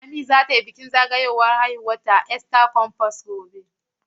Lami za ta yi bikin zagayowar ranar haihuwarta a Eastern comfort otal gobe.